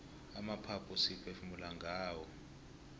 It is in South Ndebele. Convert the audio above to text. amaphaphu siphefumula ngawo